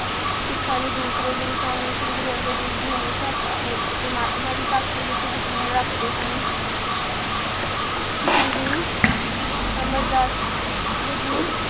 ਸਿਖਾਂ ਦੇ ਦੂਸਰੇ ਗੁਰੂ ਸਨ ਸ਼੍ਰੀ ਗੁਰੂ ਅੰਗਦ ਦੇਵ ਜੀ ਹਮੇਸ਼ਾ ਪ੍ਰਮਾਤਮਾ ਦੀ ਭਗਤੀ ਵਿਚ ਯਕੀਨ ਰਖਦੇ ਸਨ ਸ਼੍ਰੀ ਗੁਰੂ ਅਮਰ ਦਾਸ ਸ਼੍ਰੀ ਗੁਰੂ